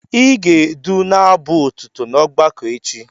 Ị ga-edu n'abụ otuto n'ọgbakọ echi!